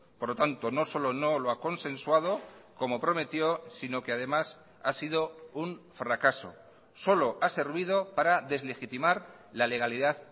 por lo tanto no solo no lo ha consensuado como prometió sino que además ha sido un fracaso solo ha servido para deslegitimar la legalidad